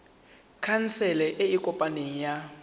khansele e e kopaneng ya